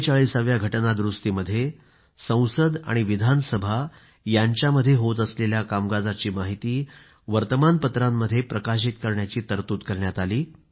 44 व्या घटना दुरूस्तीमध्ये संसद आणि विधानसभा यांच्यामध्ये होत असलेल्या कामकाजाची माहिती वर्तमान पत्रांमध्ये प्रकाशित करण्याची तरतूद करण्यात आली